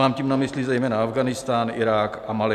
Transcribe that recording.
Mám tím na mysli zejména Afghánistán, Irák a Mali.